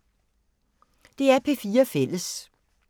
DR P4 Fælles